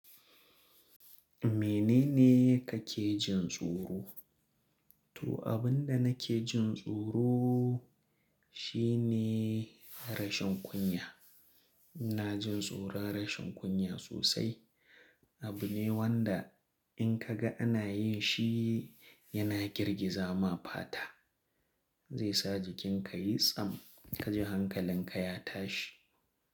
Menene kake jin tsoro? Toh, abin da nake jin tsoro shi ne rashin kunya. Ina jin tsoron rashin kunya sosai. Abu ne wanda in ka ga ana yin shi, yana girgiza ma fata. Zai sa jikin ka ya yi tsam ka ji hankalin ka ya tashi.